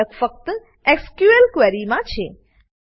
ફરક ફક્ત SQL query માં છે